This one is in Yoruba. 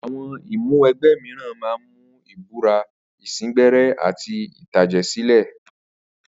Àwo̩n ìmúwe̩gbé̩ mìíràn máa ń mú ìbúra, ìsíngbé̩ré̩ àti ìtàjè̩sílè̩.